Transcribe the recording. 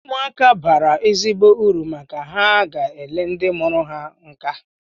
Ụmụaka bara uru maka ha ga-ele ndị mụrụ ha nka